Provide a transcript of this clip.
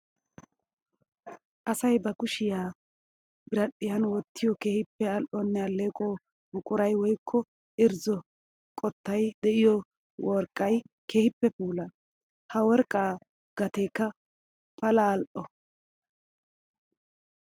Asay ba kushiya biradhiyan wotiyo keehippe ali'onne aleeqo buquray woykko irzzo qottay de'iyo worqqay keehippe puula. Ha worqqa gateekka pala ali'o.